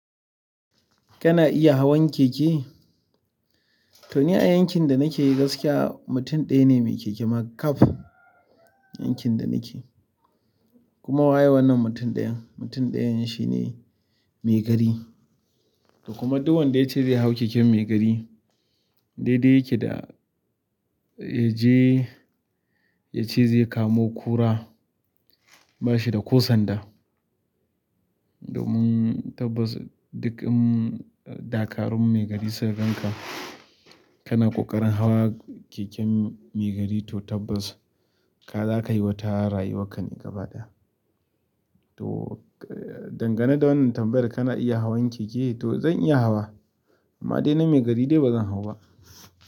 Kana iya hawan keke? To ni a yankin da nake gaskiya mutum ɗaya ne mai keke ma kab yankin da nake. Kuma wa ye wannan mutum ɗayan? Mutum ɗayan shi ne maigari. Kuma duk wanda ya ce zai hau keken maigari, daidai yake da ya je ya ce zai kamo ƙura ba shi da ƙo sanda. Domin tabbas duk ɗakarun maigari su ga kanka. Kana ƙoƙarin hawa keken maigari to tabbas ka za ka yi wata rayuwark ne gaba ɗaya. To dangane da wannan tambayar kana iya hawan keke, to zan iya hawa amma dai na maigari dai ba zan hau ba.